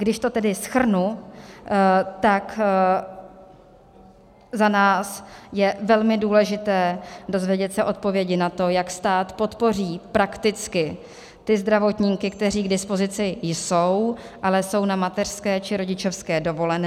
Když to tedy shrnu, tak za nás je velmi důležité dozvědět se odpovědi na to, jak stát podpoří prakticky ty zdravotníky, kteří k dispozici jsou, ale jsou na mateřské či rodičovské dovolené.